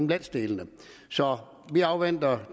landsdelene så vi afventer